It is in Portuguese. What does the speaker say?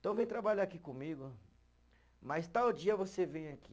Então vem trabalhar aqui comigo, mas tal dia você vem aqui.